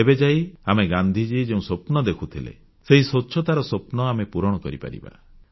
ତେବେ ଯାଇ ଆମେ ଗାନ୍ଧିଜୀ ଯେଉଁ ସ୍ୱପ୍ନ ଦେଖୁଥିଲେ ସେହି ସ୍ୱଚ୍ଛତାର ସ୍ୱପ୍ନ ଆମେ ପୂରଣ କରିପାରିବା